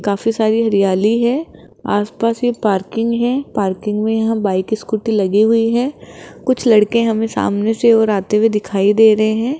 काफी सारी हरियाली है आस पास ये पार्किंग है पार्किंग में यहां बाइक स्कूटी लगी हुई है कुछ लड़के हमें सामने से और आते हुए दिखाई दे रहे हैं।